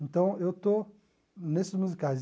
Então, eu estou nesses musicais.